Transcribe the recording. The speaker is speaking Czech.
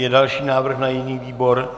Je další návrh na jiný výbor?